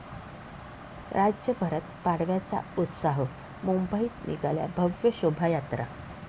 राज्यभरात पाडव्याचा उत्साह, मुंबईत निघाल्या भव्य शोभायात्रा